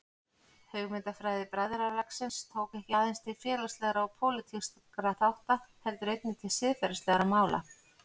Hugmyndafræði bræðralagsins tók ekki aðeins til félagslegra og pólitískra þátta heldur einnig til siðferðislegra mála.